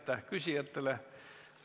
Aitäh küsijatele!